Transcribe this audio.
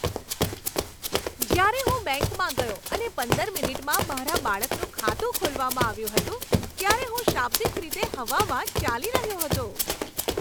જ્યારે હું બેંકમાં ગયો અને પંદર મિનિટમાં મારા બાળકનું ખાતું ખોલવામાં આવ્યું હતું ત્યારે હું શાબ્દિક રીતે હવામાં ચાલી રહ્યો હતો.